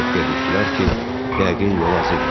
qorxuya düşdülər ki, yəqin yol azıblar.